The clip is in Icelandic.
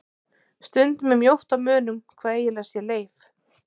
Stundum er mjótt á munum hvað eiginlega sé leif.